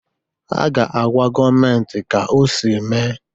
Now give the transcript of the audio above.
Ha ga-agwa gọọmentị ka ọsị mee.